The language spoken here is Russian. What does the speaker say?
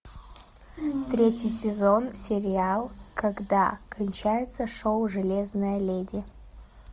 третий сезон сериал когда кончается шоу железная леди